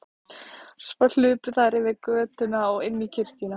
Svo hlupu þær yfir götuna og inn í kirkjuna.